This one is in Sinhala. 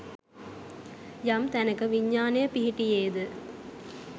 යම් තැනක විඤ්ඤාණය පිහිටියේ ද